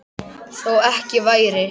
Þó ekki væri.